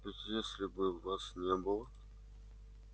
ведь если бы вас не было